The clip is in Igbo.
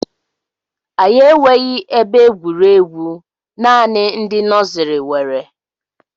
Anyị enweghi ebe egwuregwu, naanị ndị nọsiri nwere